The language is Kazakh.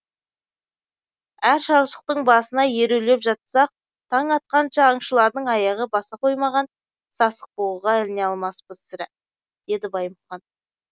әр шалшықтың басына ерулеп жатсақ таң атқанша аңшылардың аяғы баса қоймаған сасықбұғыға іліне алмаспыз сірә деді баймұхан